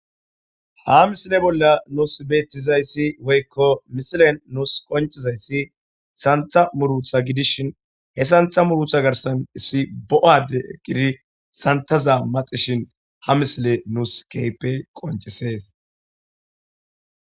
Ha misile bolla beettizayssi woykko misiliyan qoncizaysi santha muruuta gidishin he santha giddoni issi bo7a addey santhaza maxishin ha misiley nuus keehippe qonccisees.